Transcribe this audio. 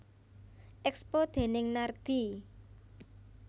Expo déning Nardi